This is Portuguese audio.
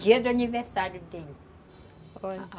Dia do aniversário dele.